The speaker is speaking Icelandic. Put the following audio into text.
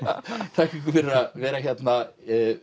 þakka ykkur fyrir að vera hérna